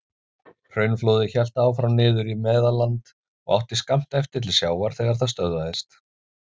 Hraunflóðið hélt áfram niður í Meðalland og átti skammt eftir til sjávar þegar það stöðvaðist.